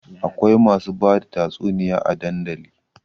Akwai masu bada tatsuniya a dandali